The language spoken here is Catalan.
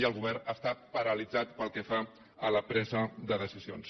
i el govern està paralitzat pel que fa a la presa de decisions